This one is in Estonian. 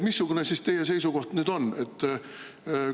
Missugune siis teie seisukoht nüüd on?